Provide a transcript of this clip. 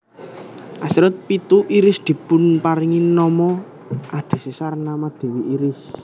Asteroid pitu Iris dipunparingi nama adhedhasar nama dewi Iris